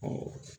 Ɔ